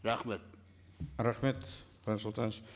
рахмет рахмет қуаныш сұлтанович